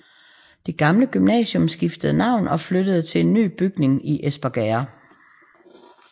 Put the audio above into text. Det gamle gymnasium skiftede navn og flyttede til en ny bygning i Espergærde